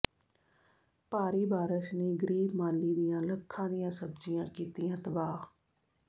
ਭਾਰੀ ਬਾਰਸ਼ ਨੇ ਗ਼ਰੀਬ ਮਾਲੀ ਦੀਆਂ ਲੱਖਾਂ ਦੀਆਂ ਸਬਜ਼ੀਆਂ ਕੀਤੀਆਂ ਤਬਾਹ